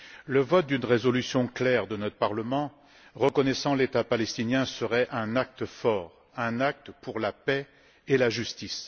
Le vote d'une résolution claire de notre Parlement reconnaissant l'État palestinien serait un acte fort, un acte pour la paix et la justice.